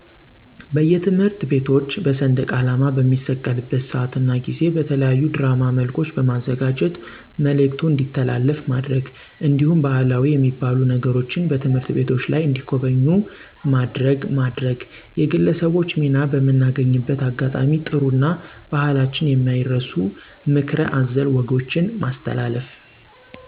በየትምህርት ቤቶች በሰንደቃላማ በሚሰቀልበት ስአት እና ጊዜ በተለያዩ ድራማ መልኮች በማዘጋጀት ምልክቱ እንዲተላለፍ ማድረግ። እንዲሁም ባህላዊ የሚባሉ ነገሮችን በትምህርት ቤቶች ላይ እንዲጎበኙ ማድረግ ማድረግ። የግለሰቦች ሚና በምናገኝበት አጋጣሚ ጥሩ እና በህላችን የማይረሱ ምክረ አዘል ወጎችን ማስተላለፍ